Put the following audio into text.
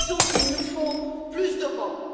Nous disons qu'il nous faut plus d'Europe.